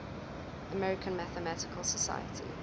american mathematical society